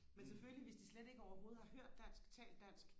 men selvfølgelig hvis de slet ikke overhovedet har hørt dansk talt dansk